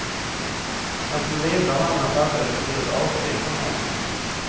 Den som levde av andras arbete gjorde ett avsteg från normen.